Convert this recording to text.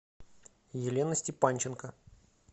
елена степанченко